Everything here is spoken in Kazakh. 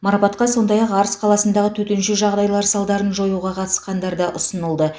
марапатқа сондай ақ арыс қаласындағы төтенше жағдайлар салдарын жоюға қатысқандарда ұсынылды